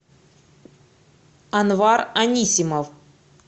анвар анисимов